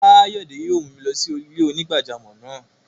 Kayode yóò mù mi lọ sí ilẹ̀-onígbàjàmọ́ náà.